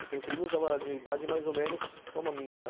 Eu tenho primos de uma idade mais ou menos como a minha, né.